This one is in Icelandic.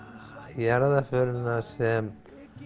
jarðarförina sem